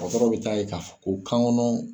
Dɔtɔrɔ bɛ taa ye ka fɔ ko